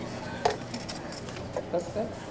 त्याच्या काही phone नाही आला कस का